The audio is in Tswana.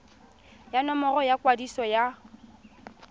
ya nomoro ya kwadiso ya